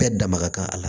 Bɛɛ da maga a la